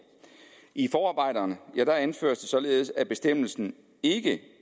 i forarbejderne anføres det således at bestemmelsen ikke